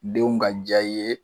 Denw ka diya i ye